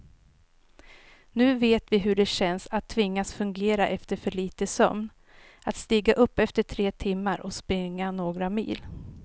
Nu vet vi hur det känns att tvingas fungera efter för lite sömn, att stiga upp efter tre timmar och springa några mil.